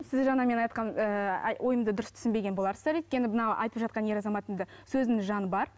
сіз жаңа мен айтқан ііі ойымды дұрыс түсінбеген боларсыздар өйткені мынау айтып жатқан ер азаматтың да сөзінің жаны бар